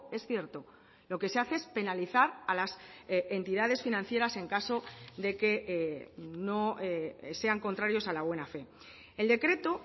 es cierto lo que se hace es penalizar a las entidades financieras en caso de que sean contrarios a la buena fe el decreto